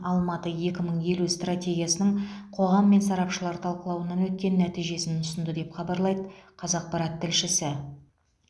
алматы екі мың елу стратегиясының қоғам мен сарапшылар талқылауынан өткен нәтижесін ұсынды деп хабарлайды қазақпарат тілшісі